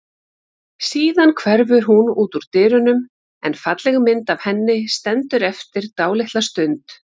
Síðan hverfur hún út úr dyrunum en falleg mynd af henni stendur eftir dálitla stund.